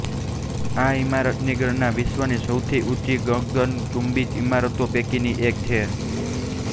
આ ઈમારતની ગણના વિશ્વની સૌથી ઊંચી ગગનચુંબી ઈમારતો પૈકીની એક છે